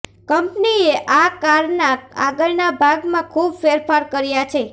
કંપનીએ આ કારના આગળના ભાગમાં ખૂબ ફેરફાર કર્યા છે